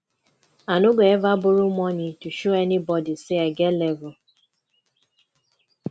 i no go eva borrow moni to show anybodi sey i get level